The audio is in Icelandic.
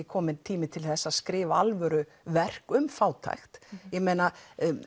kominn tími til að skrifa alvöru verk um fátækt ég meina